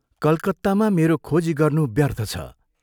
कलकत्तामा मेरो खोजी गर्नु व्यर्थ छ।